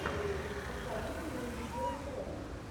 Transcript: посоветуй мне видеошоу